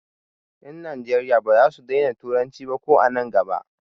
Ƴan Najeriya ba za su daina turanci ba ko an nan gaba.